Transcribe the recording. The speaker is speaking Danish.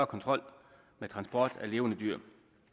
kontrol med transport af levende dyr